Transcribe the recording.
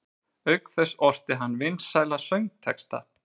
Auk þess orti hann vinsæla söngtexta.